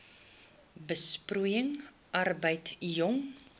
besproeiing arbeid jong